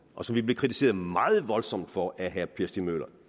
og som vi blev kritiseret meget voldsomt for af herre per stig møller